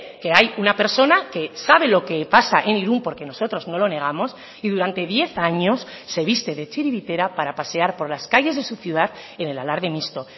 que hay una persona que sabe lo que pasa en irún porque nosotros no lo negamos y durante diez años se viste de txiribitera para pasear por las calles de su ciudad en el alarde mixto